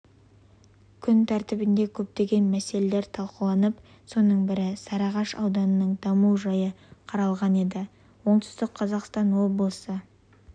күн тәртібінде көптеген мәселелер талқыланып соның бірі сарыағаш ауданының даму жайы қаралған еді оңтүстік қазақстан облысы